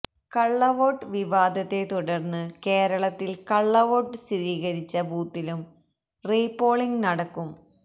കള്ളവോട്ട് വിവാദത്തെ തുടര്ന്ന് കേരളത്തില് കള്ളവോട്ട് സ്ഥിരീകരിച്ച ബൂത്തിലും റീപോളിംഗ് നടക്കും